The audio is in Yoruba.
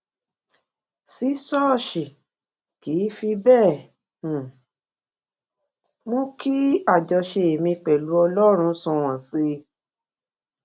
sí ṣóòṣì kì í fi béè um mú kí àjọṣe mi pèlú ọlórun sunwòn sí i